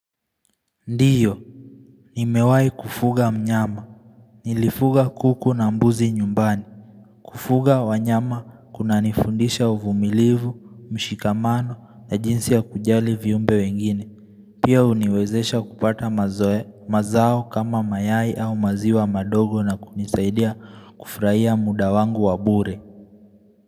Ndiyo, nimewai kufuga mnyama. Nilifuga kuku na mbuzi nyumbani. Kufuga wanyama kuna nifundisha uvumilivu, mshikamano na jinsi ya kujali viumbe wengine. Pia uniwezesha kupata mazoe, mazao kama mayai au maziwa madogo na kunisaidia kufurahia muda wangu wabure.